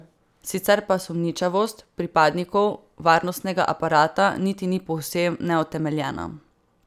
Sicer pa sumničavost pripadnikov varnostnega aparata niti ni povsem neutemeljena.